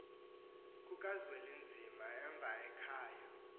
kukazwelinzima emva ekhaya